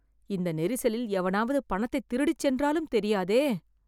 இந்த நெரிசலில் எவனாவது பணத்தைத் திருடிச் சென்றாலும் தெரியாதே..